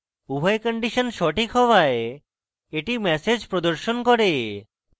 উভয় কন্ডিশন সঠিক হওয়ায় এটি ম্যাসেজ প্রদর্শন করে